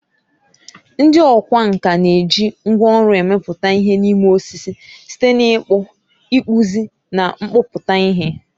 Ndị ọkwá nkà na-eji ngwá ọrụ emepụta ihe n'ime osisi, site na ịkpụ, ịkpụzi, na mkpọpu ihe.